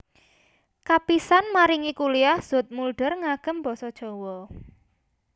Kapisan maringi kuliah Zoetmulder ngangem basa Jawa